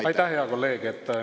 Aitäh, hea kolleeg!